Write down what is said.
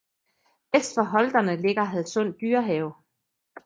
Vest for Holterne ligger Hadsund Dyrehave